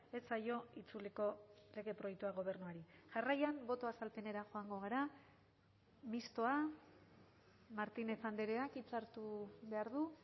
ez zaio itzuliko lege proiektua gobernuari jarraian boto azalpenera joango gara mistoa martínez andreak hitza hartu behar du